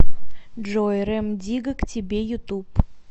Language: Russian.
джой рем дигга к тебе ютуб